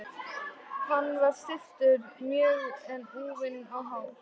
Hann var stilltur mjög en úfinn á hár.